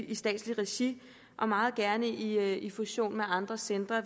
i statsligt regi og meget gerne indgår i fusion med andre centre